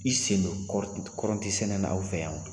I sen don kɔrɔntisɛnɛ na aw fɛ yan